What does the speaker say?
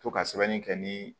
To ka sɛbɛnni kɛ ni